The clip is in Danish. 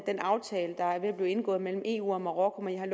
den aftale der er ved at blive indgået mellem eu og marokko men jeg har